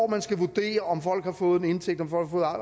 man skal vurdere om folk har fået en indtægt om folk har